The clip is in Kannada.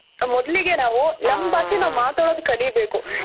ಮೊದಲಿಗೆ ನಾವು ನಮ್ ಭಾಷೆ ನಾವ್ ಮಾತಾಡೋದ್ ಕಲಿಬೇಕು